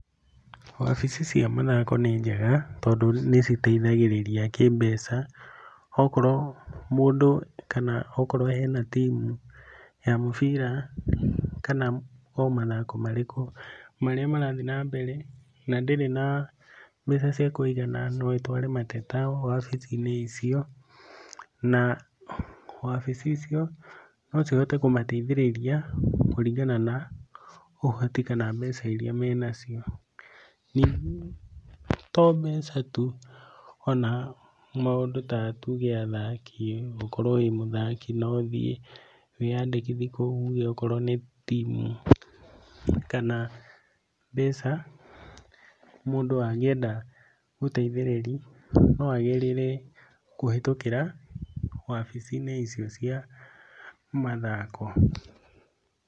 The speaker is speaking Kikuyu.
Wabici cia mathako nĩ njega, tondũ nĩ citeithagĩrĩria kĩmbeca, okorwo mũndũ kana okorwo hena timu ya mũbira, kana o mathako marĩkũ marĩa marathiĩ nambere na ndĩrĩ na mbeca cia kũigana, nokũrehe mateta wabici-inĩ icio, na wabici icio nocihote kũmateithĩrĩria kũringana na ũhoti, kana mbeca iria menacio. Ningĩ tombecatu, ona maũndũ ta tũge athaki, gukorwo wĩmũthaki noũthiĩ, wĩyandĩkithie kũu ũge, okorwo nĩ timu, kana mbeca, mũndũ angĩenda gũteithĩrĩria, no agerere kũhetũkĩra wabici-inĩ icio cia mathako,